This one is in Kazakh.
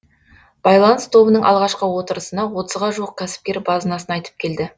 байланыс тобының алғашқы отырысына отызға жуық кәсіпкер базынасын айтып келді